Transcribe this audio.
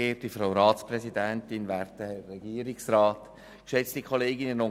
Die EVP-Fraktion stimmt dem Kredit also zu.